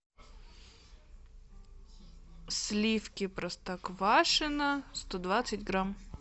сливки простоквашино сто двадцать грамм